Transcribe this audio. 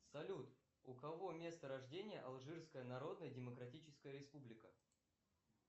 салют у кого место рождения алжирская народная демократическая республика